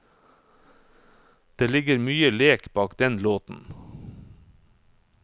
Det ligger mye lek bak denne låten.